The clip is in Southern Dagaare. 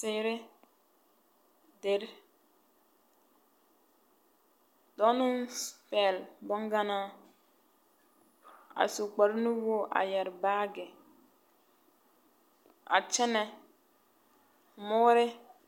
Teere, deri. Dͻͻ naŋ pԑgele boŋganaa, a su kpare nuwogiri a yԑre baage a kyԑnԑ mõõre.